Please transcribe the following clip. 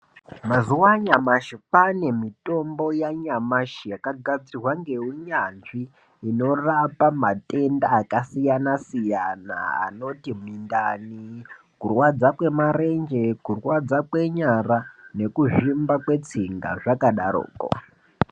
Mazjwa anyamashi kwaane mitombo yanyamashi yakagadzirwa ngeunyanzvi inorapa matenda akasiyana siyana anoti mundani kurwadza kwemarenje kurwadza kwenyara nekuzvimba kwrtsinga zvakadarokwo.